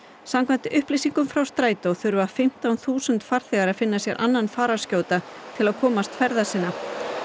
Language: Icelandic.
samkvæmt upplýsingum frá Strætó þurfa um fimmtán þúsund farþegar að finna sér annan fararskjóta til að komast ferða sinna